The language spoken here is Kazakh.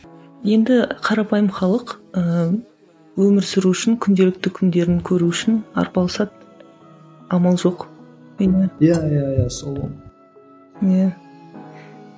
енді қарапайым халық ыыы өмір сүру үшін күнделікті күндерін көру үшін арпалысады амал жоқ енді иә иә иә сол ғой иә